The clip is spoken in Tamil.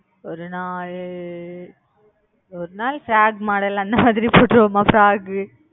ஒரு நாள் ஒரு நாள் frock model அந்த மாதிரி போட்டுப்போமா frock